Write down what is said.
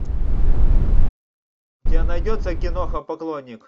у тебя найдется киноха поклонник